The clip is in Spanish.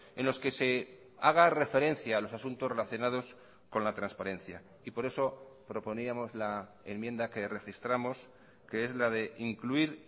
en los que se haga referencia a los asuntos relacionados con la transparencia y por eso proponíamos la enmienda que registramos que es la de incluir